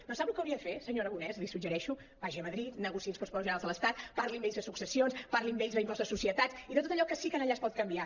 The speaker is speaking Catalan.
però sap el que hauria de fer senyor aragonès li suggereixo vagi a madrid negociï els pressupostos generals de l’estat parli amb ells de successions parli amb ells de l’impost de societats i de tot allò que sí que allà es pot canviar